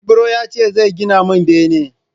Ibro ya ce zai gina mun bene